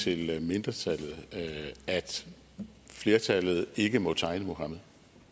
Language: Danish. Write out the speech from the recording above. til mindretallet at flertallet ikke må tegne muhammed